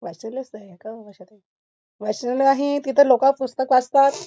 वाचनालय असत हे का ओ आशा ताई वाचनालय आहे तिथ लोक पुस्तक वाचतात.